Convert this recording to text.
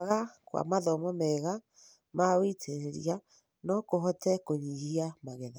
Kwaga kwa mathomo mega ma wĩitĩrĩria no kũhote kũnyihia magetha.